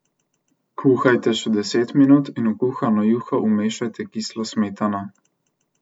Kuhajte še deset minut in v kuhano juho umešajte kislo smetano.